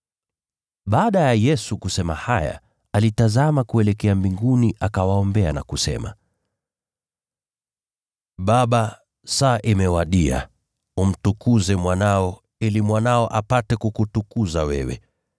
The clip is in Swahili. Baada ya Yesu kusema haya, alitazama kuelekea mbinguni akawaombea na kusema: “Baba, saa imewadia. Umtukuze Mwanao, ili Mwanao apate kukutukuza wewe.